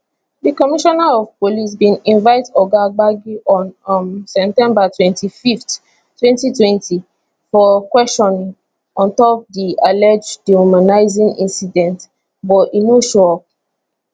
di commissioner of police bin invite oga gbagi on um september twenty fifth twenty twenty for questioning on top di alleged dehumanising incident but e no show up